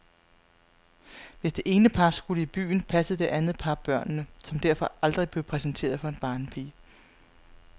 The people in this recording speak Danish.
Hvis det ene par skulle i byen, passede det andet par børnene, som derfor aldrig blev præsenteret for en barnepige.